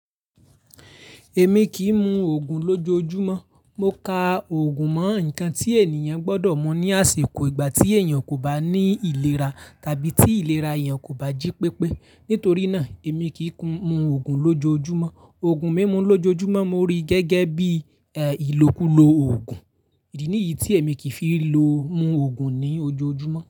Èmi kì í mu òògùn lójoojúmọ́. Mo ka òògùn mọ́ ǹkan tí ènìyàn gbọdọ̀ mọ ní àsèkó ìgbà tí èèyàn kò bá ní ìlera tàbí tí ìlera èèyàn kò bá jí pépé. Nítorí náà èmi kì í kun mu òògùn lójoojúmọ́. Òògùn mímu lójoojúmọ́ mo rí gẹ́gẹ́ bí, eh, ìlòkulò òògùn. Idi ni yí tí èmi kì í fi lo mu òògùn ní ojoojúmọ́.